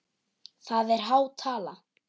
Það er há tala.